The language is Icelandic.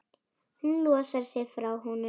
Hún losar sig frá honum.